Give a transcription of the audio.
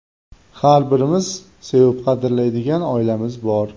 Har birimizning sevib, qadrlaydigan oilamiz bor.